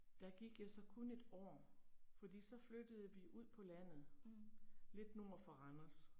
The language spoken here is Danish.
Der gik jeg så kun et år. Fordi så flyttede vi ud på landet, lidt nord for Randers